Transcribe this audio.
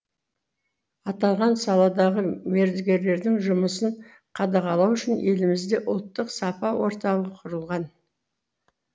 аталған саладағы мердігерлердің жұмысын қадағалау үшін елімізде ұлттық сапа орталығы құрылған